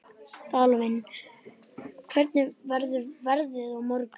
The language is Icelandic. Dvalinn, hvernig verður veðrið á morgun?